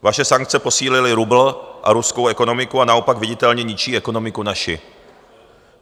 Vaše sankce posílily rubl a ruskou ekonomiku a naopak viditelně ničí ekonomiku naši.